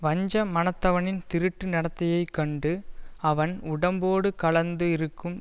வஞ்ச மனத்தவனின் திருட்டு நடத்தையைக் கண்டு அவன் உடம்போடு கலந்து இருக்கும்